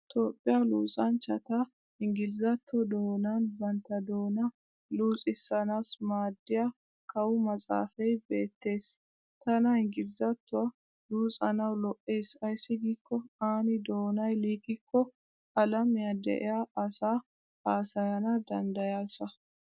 Toophphiya luxanchchat inggilzzatto doonan bantta doonaa luxissana maadiya kawu maxxaafay beettes. Tana inggilzzattuwa luxanawu lo'es ayssi giikko aani doonay liiqikko alamiya de'iya asaa haasayana danddayaasa.